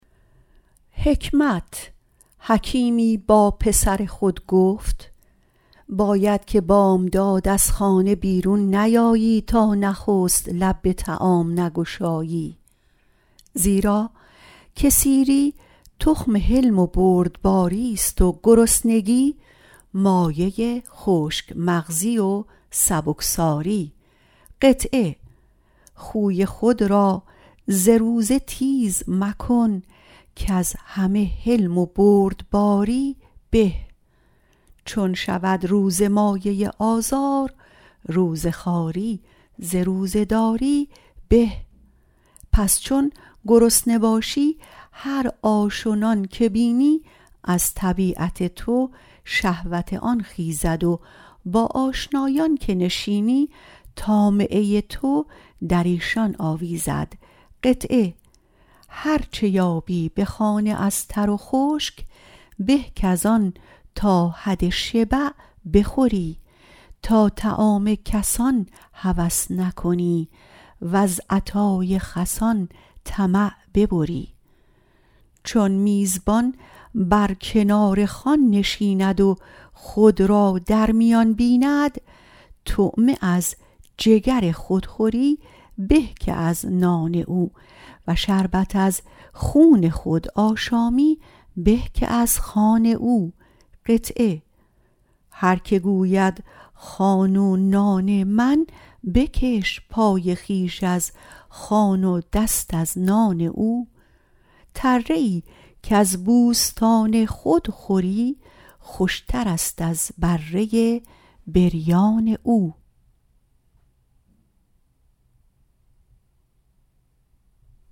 حکیمی با پسر خود گفت باید که بامداد از خانه بیرون نیایی تا نخست به طعامی لب نگشایی زیرا که سیری تخم حلم و بردباریست و گرسنگی مایه خشک مغزی و سبکساری خوی خود را ز روزه تیره مکن کز همه حلم و بردباری به چون شود روزه مایه آزار روزه خواری ز روزه داری به چون گرسنه باشی هر آش یا نان که بینی از طبیعت تو شهوت آن خیزد و به آشنایان که نشینی طامعه تو در ایشان آویزد هرچه یابی به خانه از تر و خشک به کز آن تا حد شبع بخوری تا طعام کسان هوس نکنی وز عطای خسان طمع ببری چون میزبان بر کنار خوان نشیند و خود را در میان بیند طعمه از جگر خود خوری به که از نان او و شربت از خون خود آشامی به که از خوان او هرکه گوید خوان و نان من بکش پای خویش از خوان و دست از نان او تره ای کز بوستان خود خوری خوشتر است از بره بریان او